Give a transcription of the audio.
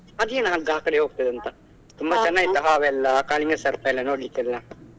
ಅದೇನ್ ಹಗ್ಗ ಆಕಡೆ ಹೋಗ್ತದೆ ಅಂತ ತುಂಬಾ ಚನ್ನಗಿತ್ತಾ ಹಾವೆಲ್ಲ ಕಾಳಿಂಗ ಸರ್ಪ ಎಲ್ಲ ನೋಡ್ಲಿಕ್ಕೆ ಎಲ್ಲ.